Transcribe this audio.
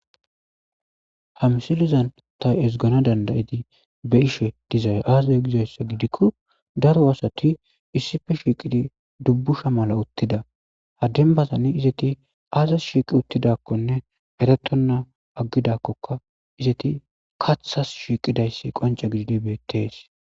ha msilizan tay esgana dandayidi be ishe dizay aazay gizayssa gidikko daro asati issife shiiqidi dubbusha mala uttida haddenbazani izeti aazas shiiqi uttidakkonne eretonna aggidakkoka izeti kathas shiiqidayssi qonca gididi beettees